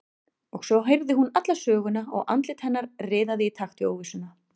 Og svo heyrði hún alla söguna og andlit hennar riðaði í takt við óvissuna.